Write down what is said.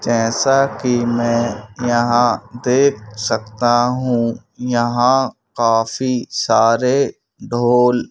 जैसा कि मैं यहां देख सकता हूं यहां काफी सारे ढोल--